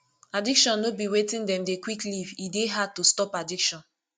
addiction no be wetin dem dey quick leave e dey hard to stop addiction